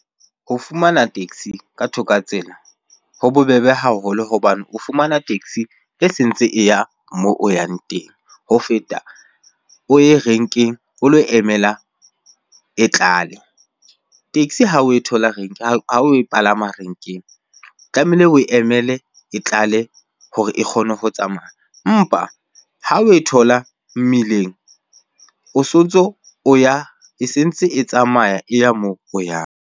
Ho fumana taxi ka thoka ho tsela ho bobebe haholo hobane o fumana taxi e sentse e ya moo o yang teng. Ho feta o ye renkeng o lo emela e tlale, taxi ha oe thola renke ha o e palama renkeng. Tlamehile oe emele e tlale hore e kgone ho tsamaya. Mpa ha oe thola mmileng o sontso o ya e sentse e tsamaya e ya moo o yang.